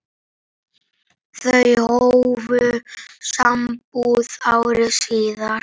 Þau hófu sambúð ári síðar.